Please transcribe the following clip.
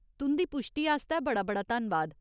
तुं'दी पुश्टी आस्तै बड़ा बड़ा धन्नवाद।